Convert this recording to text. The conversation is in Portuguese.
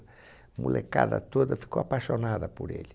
Molecada toda ficou apaixonada por ele.